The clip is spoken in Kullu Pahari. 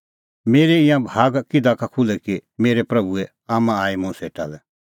मेरै ईंयां भाग किधा का खुल्है कि मेरै प्रभूए आम्मां आई मुंह सेटा लै